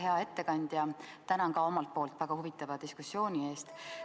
Hea ettekandja, tänan ka omalt poolt väga huvitava diskussiooni eest.